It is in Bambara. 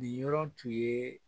Nin yɔrɔ tun ye